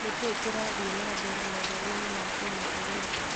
nĩkĩĩ kĩrathie na mbere mohoroinĩ ma kĩmabũrũri